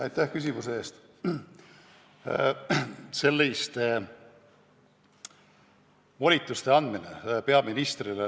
Aitäh küsimuse eest!